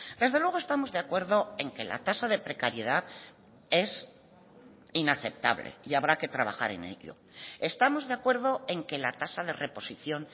desde luego estamos de acuerdo en que la tasa de precariedad es inaceptable y habrá que trabajar en ello estamos de acuerdo en que la tasa de reposición